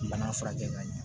Bana furakɛ ka ɲɛ